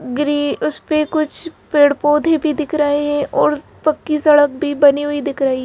ग्री उस पे कुछ पेड़-पौधे भी दिख रहे हैं और पक्की सड़क भी बनी हुई दिख रही --